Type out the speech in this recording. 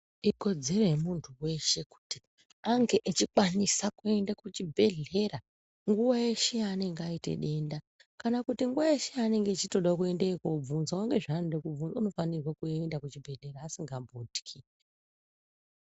Ikodzero yemundu weshe kuti ange echikwanisa kuenda kuchibhedhera nguwa yeshe yaanenge ayita denda kana kuti nguwa yaanenge echitoda kuendeyo kobvunzawo ngezvaanoda kobvunza unofanirwa kuenda kuchibhedhera asingambotyi.